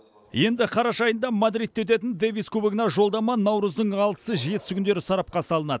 енді қараша айында мадридте өтетін дэвис кубогына жолдама наурыздың алтысы жетісі күндері сарапқа салынады